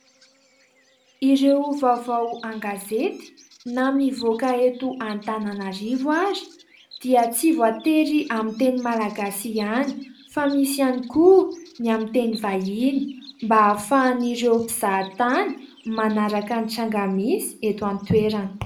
Ireo vaovao an-gazety na mivoaka eto Antananarivo ary dia tsy voatery amin'ny teny malagasy ihany fa misy koa ny amin'ny teny vahiny mba ahafahan'ireo mpizahatany manaraka ny tranga misy eto an-toerana.